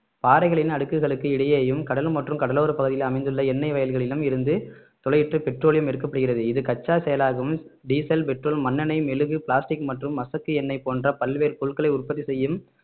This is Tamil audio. பாறைகளின் அடுக்குகளுக்கு இடையேயும் கடல் மற்றும் கடலோரப் பகுதியில் அமைந்துள்ள எண்ணெய் வயல்களிலும் இருந்து துளையிட்டு பெட்ரோலியம் எடுக்கப்படுகிறது இது கச்சா செயலாக்கம் டீசல் பெட்ரோல் மண்ணெண்ணெய் மெழுகு பிளாஸ்டிக் மற்றும் மசக்கு எண்ணெய் போன்ற பல்வேறு பொருட்களை உற்பத்தி செய்யும்